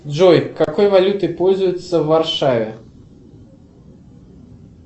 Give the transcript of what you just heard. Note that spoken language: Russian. джой какой валютой пользуются в варшаве